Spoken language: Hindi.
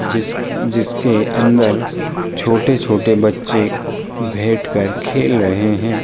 जिसक जिसके अंदर अंदर छोटे-छोटे बच्चे भैठकर खेल रहे हैं।